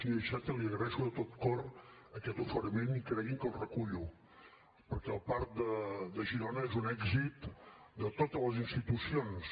senyor iceta li agraeixo de tot cor aquest oferiment i cregui’m que el recullo perquè el parc de girona és un èxit de totes les institucions